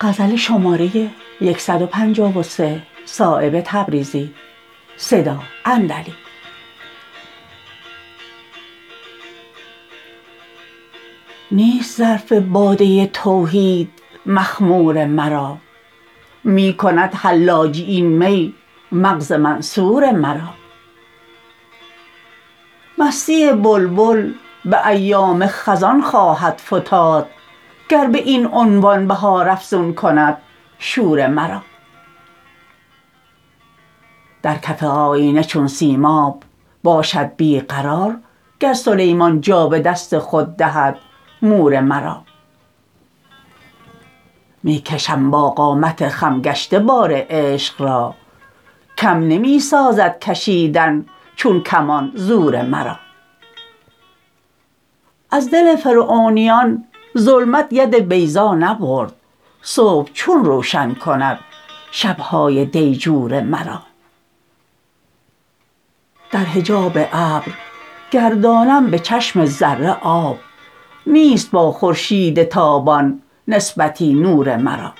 نیست ظرف باده توحید مخمور مرا می کند حلاجی این می مغز منصور مرا مستی بلبل به ایام خزان خواهد فتاد گر به این عنوان بهار افزون کند شور مرا در کف آیینه چون سیماب باشد بی قرار گر سلیمان جا به دست خود دهد مور مرا می کشم با قامت خم گشته بار عشق را کم نمی سازد کشیدن چون کمان زور مرا از دل فرعونیان ظلمت ید بیضا نبرد صبح چون روشن کند شبهای دیجور مرا در حجاب ابر گردانم به چشم ذره آب نیست با خورشید تابان نسبتی نور مرا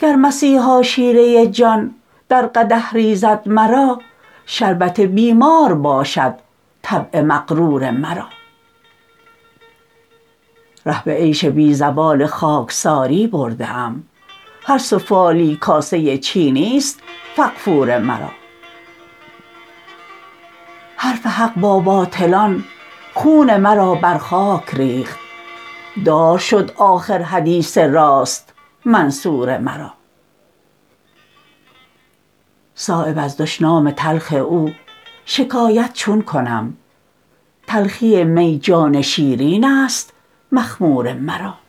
گر مسیحا شیره جان در قدح ریزد مرا شربت بیمار باشد طبع مغرور مرا ره به عیش بی زوال خاکساری برده ام هر سفالی کاسه چینی است فغفور مرا حرف حق با باطلان خون مرا بر خاک ریخت دار شد آخر حدیث راست منصور مرا صایب از دشنام تلخ او شکایت چون کنم تلخی می جان شیرین است مخمور مرا